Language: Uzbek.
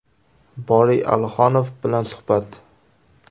Boriy Alixonov bilan suhbat.